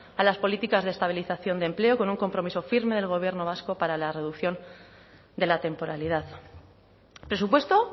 a las políticas de estabilización de empleo con un compromiso firme del gobierno vasco para la reducción de la temporalidad presupuesto